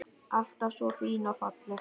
Alltaf svo fín og falleg.